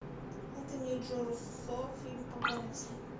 энтони и джо руссо фильм по комиксам